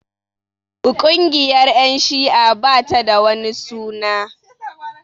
Ƙungiyar ƴan shi'a ba ta da wani suna